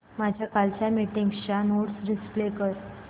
माझ्या कालच्या मीटिंगच्या नोट्स डिस्प्ले कर